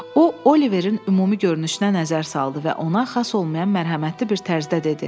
O Oliverin ümumi görünüşünə nəzər saldı və ona xas olmayan mərhəmətli bir tərzdə dedi: